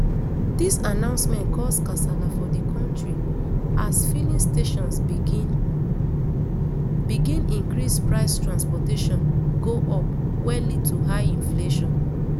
dis announcement cause kasala for di kontri as fillings stations begin begin increase price transportation go up wey lead to high inflation